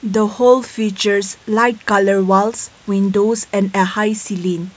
the whole features light colour walls windows and a high ceiling.